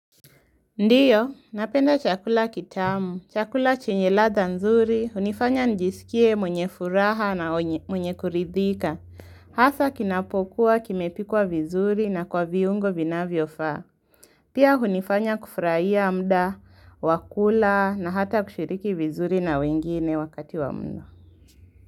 Ndiyo, napenda chakula kitamu, chakula chinye ladha nzuri, hunifanya njisikie mwenye furaha na mwenye kuridhika. Hasa kinapokuwa, kimepikwa vizuri na kwa viungo vinavyofaa. Pia hunifanya kufuraia muda, wakula na hata kushiriki vizuri na wengine wakati wa mno.